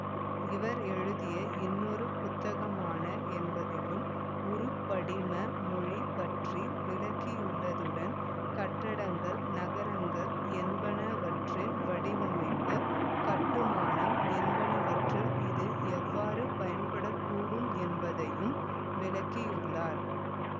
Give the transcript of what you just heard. இவர் எழுதிய இன்னொரு புத்தகமான என்பதிலும் உருப்படிம மொழி பற்றி விளக்கியுள்ளதுடன் கட்டடங்கள் நகரங்கள் என்பவற்றின் வடிவமைப்பு கட்டுமானம் என்பவற்றில் இது எவ்வாறு பயன்படக்கூடும் என்பதையும் விளக்கியுள்ளார்